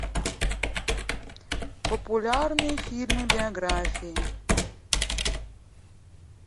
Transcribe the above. популярные фильмы биографии